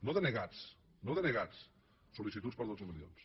no denegats no denegats sol·licituds per dotze milions